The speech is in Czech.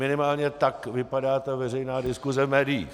Minimálně tak vypadá ta veřejná diskuse v médiích.